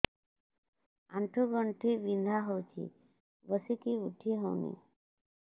ଆଣ୍ଠୁ ଗଣ୍ଠି ବିନ୍ଧା ହଉଚି ବସିକି ଉଠି ହଉନି